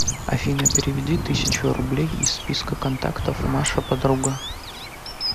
афина переведи тысячу рублей из списка контактов маша подруга